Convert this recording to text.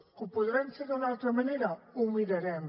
que ho podrem fer d’una altra manera ho mirarem